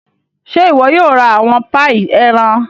Ṣe iwọ yóò ra awọn paii ẹran?